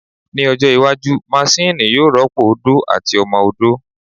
Ní ọjọ́ iwájú, maṣini yóò rọ́pò ó odó àti ọmọ odó